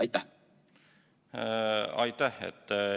Aitäh!